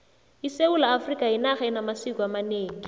isewula afrikha yinarha enamasiko amanengi